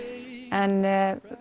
en